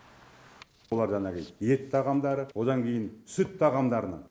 оларда анализ ет тағамдары одан кейін сүт тағамдарынан